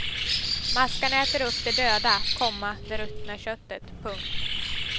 Maskarna äter upp det döda, komma det ruttna köttet. punkt